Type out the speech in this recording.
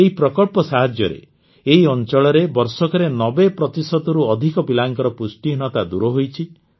ଏହି ପ୍ରକଳ୍ପ ସାହାଯ୍ୟରେ ଏହି ଅଂଚଳରେ ବର୍ଷକରେ ୯୦ ପ୍ରତିଶତରୁ ଅଧିକ ପିଲାଙ୍କର ପୁଷ୍ଟିହୀନତା ଦୂର ହୋଇଛି